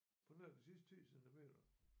På nær de sidste 10 centimeter